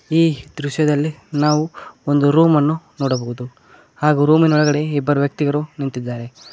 ಈ ದೃಶ್ಯದಲ್ಲಿ ನಾವು ಒಂದು ರೂಮ್ ಅನ್ನು ನೋಡಬಹುದು ಹಾಗು ರೂಮಿನೊಳಗಡೆ ಇಬ್ಬರು ವ್ಯಕ್ತಿಗರು ನಿಂತಿದ್ದಾರೆ.